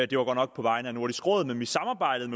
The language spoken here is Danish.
det var godt nok på vegne af nordisk råd men vi samarbejdede